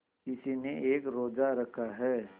किसी ने एक रोज़ा रखा है